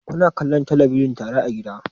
Kuna kallon talabijin tare a gida?